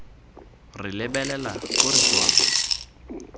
re lebelela ko re tswang